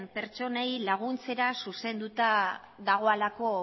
pertsonei laguntzera zuzenduta dagoelako